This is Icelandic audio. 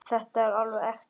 Þetta er alveg ekta.